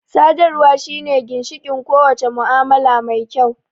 Sadarwa shine ginshiƙin ko wace mu'amala mai kyau